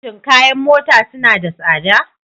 Shin kayan mota suna da tsada?